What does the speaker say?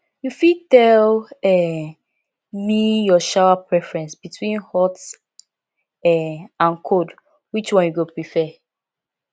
you fit tell um me your shower preference between hot um and cold which one you go prefer